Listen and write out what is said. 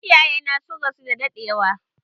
Iyaye na sun rasu da daɗewa.